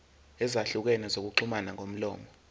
ezahlukene zokuxhumana ngomlomo